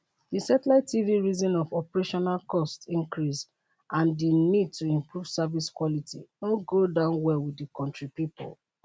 di satellite tv reason of operational costs increase and di need to improve service quality no go down well wit di kontri pipo